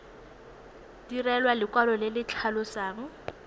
direlwa lekwalo le le tlhalosang